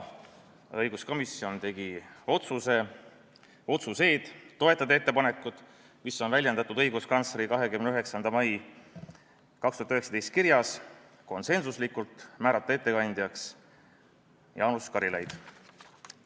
Õiguskomisjon tegi konsensusliku otsuse toetada ettepanekut, mis on väljendatud õiguskantsleri 29. mai 2019 kirjas, ja määrata ettekandjaks Jaanus Karilaid.